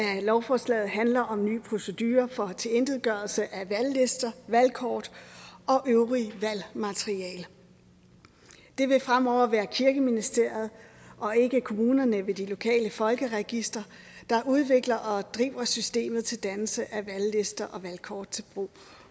lovforslaget handler om nye procedurer for tilintetgørelse af valglister valgkort og øvrigt valgmateriale det vil fremover være kirkeministeriet og ikke kommunerne ved de lokale folkeregistre der udvikler og driver systemet til dannelse af valglister og valgkort til brug